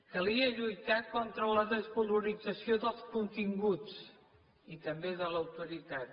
calia lluitar contra la desvalorització dels continguts i també de l’autoritat